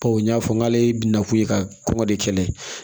Bawo n y'a fɔ k'ale bɛna kun ye ka kɔngɔ de kɛlɛ